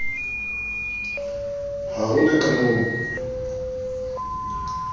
ha ho na ka moo